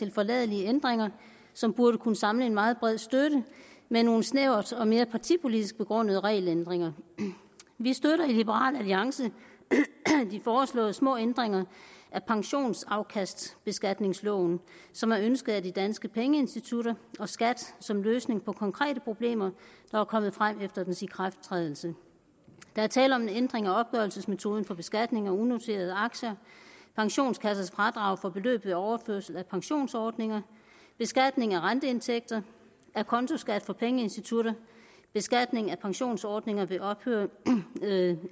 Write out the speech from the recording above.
tilforladelige ændringer som burde kunne samle en meget bred støtte med nogle snævert og mere partipolitisk begrundede regelændringer vi støtter i liberal alliance de foreslåede små ændringer af pensionsafkastbeskatningsloven som er ønsket af de danske pengeinstitutter og skat som løsning på konkrete problemer der var kommet frem efter dens ikrafttrædelse der er tale om en ændring af opgørelsesmetoden for beskatning af unoterede aktier pensionskassers fradrag for beløb ved overførsel af pensionsordninger beskatning af renteindtægter acontoskat for pengeinstitutter beskatning af pensionsordninger ved ophør